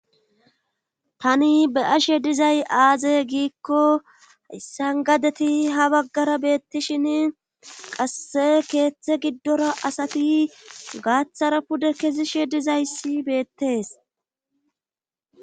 tani be'ashe dizay aaze giikko sangadeti ha baggara beettishin qasse keeththe giddora asati gaaththara pude kesishe dizayssi beettees